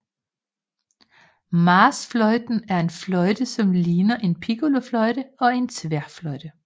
Marchfløjten er en fløjte som ligner en piccolofløjte og en tværfløjte